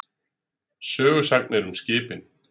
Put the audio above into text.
Sögusagnir um skipin.